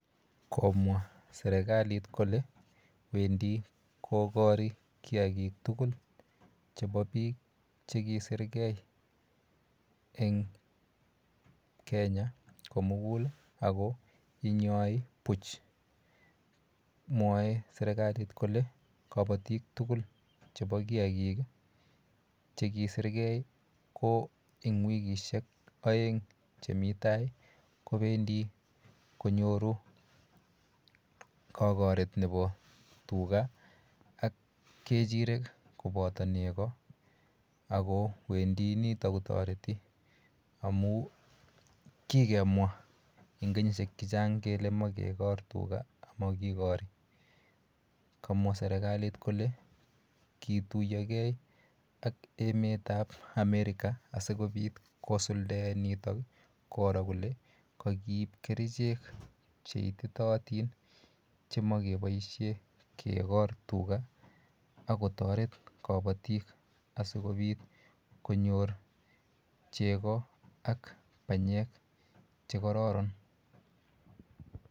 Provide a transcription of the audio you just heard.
Komwa serikalit kole wendi kokori kiakik tugul chepo biik chekisirgei eng Kenya ako inyoi buch. Mwoe serikalit kole kabatik tugul chepo kiakik chekisirgei ko eng wikishek oeng chemi tai kowendi konyoru kakaret nepo tuga ak kechirek kopoto nego ako wendi nitok kotoreti amu kikemwa eng kenyishek chechang kele makekor tuga amakikori. Kamwa serikalit kole kituiyogei ak ematap America asikobit kosuldae nitok koro kole kakiip kerichek cheititootin chemakeboishe kekor tuga akotoret kabatik asikobit konyor chego ak banyek chekororon.